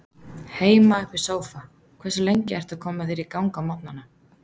Heima upp í sófa Hversu lengi ertu að koma þér í gang á morgnanna?